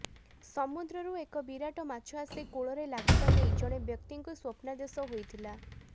ସମୁଦ୍ରରୁ ଏକ ବିରାଟ ମାଛ ଆସି କୂଳରେ ଲାଗିବା ନେଇ ଜଣେ ବ୍ୟକ୍ତିଙ୍କୁ ସ୍ବପ୍ନାଦେଶ ହୋଇଥିଲା